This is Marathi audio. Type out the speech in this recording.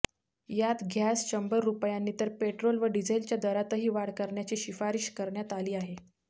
यात गॅस शंभर रुपयांनी तर पेट्रोल व डिझेलच्या दरातही वाढ करण्याची शिफारिश करण्यात आली आहे